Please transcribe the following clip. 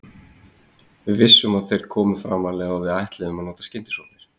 Við vissum að þeir komu framarlega og við ætluðum að nota skyndisóknir.